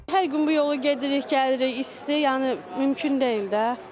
Hər gün bu yolu gedirik, gəlirik, isti, yəni mümkün deyil də.